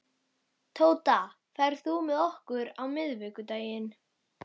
Tóta, ferð þú með okkur á miðvikudaginn?